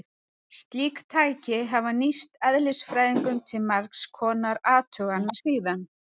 Slík tæki hafa nýst eðlisfræðingum til margs konar athugana síðan.